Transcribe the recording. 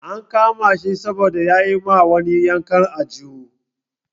An kama shi saboda ya yi ma wani yankan aljihu.